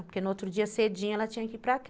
Porque no outro dia, cedinho, ela tinha que ir para